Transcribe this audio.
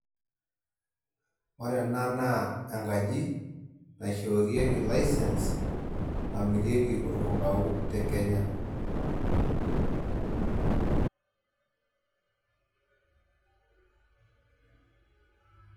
Ore ena naa enkaji, naishoorieki license, namirieki olkumbau te Kenya.